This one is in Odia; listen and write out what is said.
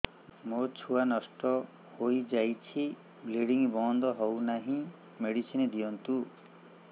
ମୋର ଛୁଆ ନଷ୍ଟ ହୋଇଯାଇଛି ବ୍ଲିଡ଼ିଙ୍ଗ ବନ୍ଦ ହଉନାହିଁ ମେଡିସିନ ଦିଅନ୍ତୁ